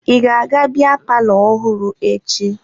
Ị ga-aga biya palọ ọhụrụ echi?